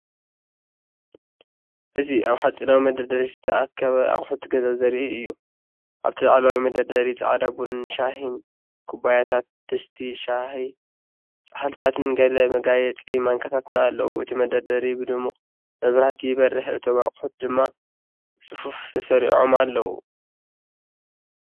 እzi ኣብ ሓጺናዊ መደርደሪ ዝተኣከበ ኣቑሑት ገዛ ዘርኢ እዩ። ኣብቲ ላዕለዋይ መደርደሪ ጻዕዳ ቡንን ሻሂን ኩባያታት፡ ድስቲ ሻሂ፡ ጻሕሊታትን ገለ መጋየጺ ማንካታትን ኣለዉ። እቲ መደርደሪ ብድሙቕ መብራህቲ ይበርህ፣ እቶም ኣቑሑት ድማ ብጽፉፍ ተሰሪዖም ኣለዉ።